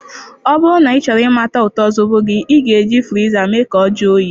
Ọ bụrụ na ịchọrọ imata ụtọ Zobo gị, ị ga-eji friza mee ka ọ jụọ oyi.